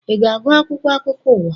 I na-agu akwụkwọ akụkọ ụwa?